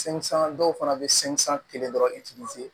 dɔw fana bɛ kelen dɔrɔn